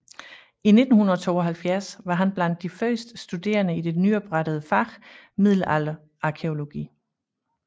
I 1972 var han blandt de første studerende i det nyoprettede fag middelalderarkæologi